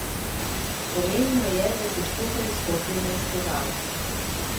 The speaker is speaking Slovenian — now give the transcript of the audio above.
Pomembno je, da se skupaj izkopljemo iz težav.